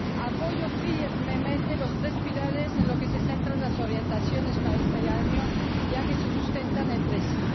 Apoyo firmemente los tres pilares en los que se centran las orientaciones para este año, ya que se sustentan entre sí.